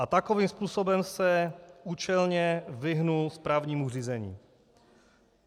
A takovým způsobem se účelně vyhnul správnímu řízení.